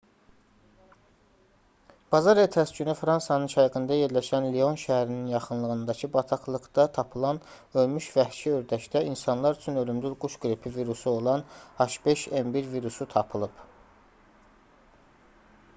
bazar ertəsi günü fransanın şərqində yerləşən lyon şəhərinin yaxınlığındakı bataqlıqda tapılan ölmüş vəhşi ördəkdə insanlar üçün ölümcül quş qripi virusu olan h5n1 virusu tapılıb